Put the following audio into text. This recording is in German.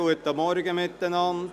Guten Morgen miteinander.